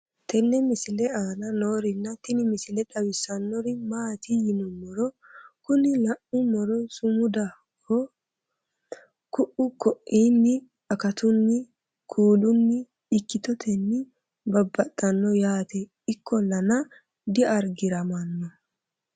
tenne misile aana noorina tini misile xawissannori maati yinummoro kuni la'ummoro sumudaho ku'u koinni akatunni kuulunni ikkitotenni bsbbsxanno yaate ikkollana diargiramanno